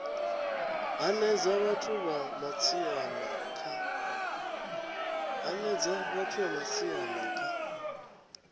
hanedza vhathu vha matshaina kha